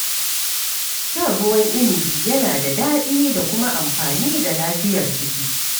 Shan ruwan inibi yana da daɗi da kuma amfani ga lafiyar jiki.